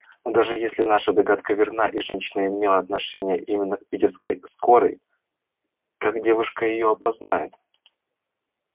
но даже если наша догадка верна и женщина имела отношение именно к питерской скорой как девушка её опознает